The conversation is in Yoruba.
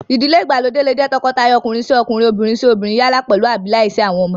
Ìdílé ìgbàlódé lè jẹ́ tọkọtaya ọkùnrin-sí-ọkunrin, obìnrin-sí-obìnrin yálà pèlú àbí láìsí àwọn ọmọ